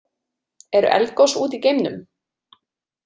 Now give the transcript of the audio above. Eru eldgos úti í geimnum?